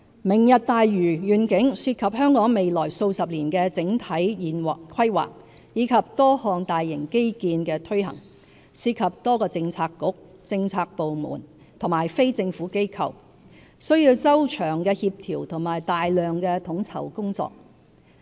"明日大嶼願景"涉及香港未來數十年的整體規劃及多項大型基建的推行，涉及多個政策局、政府部門和非政府機構，需要周詳的協調和大量統籌工作。